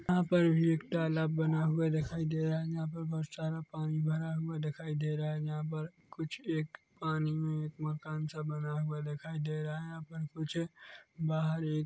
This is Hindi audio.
यहाँ पर भी एक तालाब बना हुआ दिखाई दे रहा है यहाँ पर बहुत सारा पानी भरा हुआ दिखाई दे रहा है यहाँ पर कुछ एक पानी में एक मकान सा बना हुआ दिखाई दे रहा है यहाँ पर कुछ एक बाहर एक--